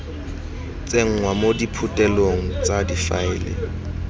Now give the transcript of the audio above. tsenngwa mo diphuthelong tsa difaele